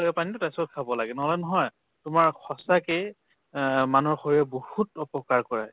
পানীতো তাৰ পিছত খাব লাগে। নহলে নহয় তোমাৰ সঁচাকে অহ মানুহৰ শৰীৰত বহুত অপকাৰ কৰে।